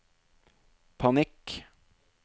panikk